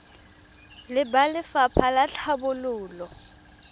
le ba lefapha la tlhabololo